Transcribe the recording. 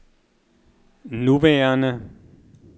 nuværende